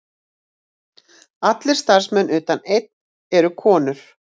Allir starfsmenn utan einn eru konur